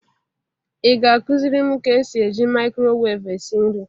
Ị ga-akụzịrị m ka esi e ji mikrowevu esi nri?